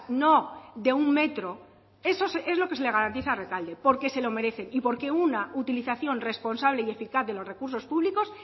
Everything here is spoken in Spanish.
no de un metro eso es lo que se garantiza a rekalde porque se lo merecen y porque una utilización responsable y eficaz de los recursos públicos